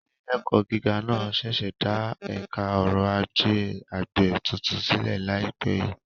Ilé-ẹ̀kọ́ gíga náà ṣẹ̀ṣẹ̀ dá Ẹ̀ka Ọrọ̀ Ajé Àgbẹ̀ tuntun sílẹ̀ láìpẹ́ yìí.